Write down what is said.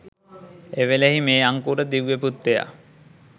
එවෙලෙහි මේ අංකුර දිව්‍ය පුත්‍රයා